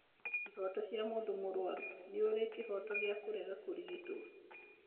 Ihoto cia mũndũ mũruaru:Nĩ ũrĩ kĩhoto gya kũrega kũrigito?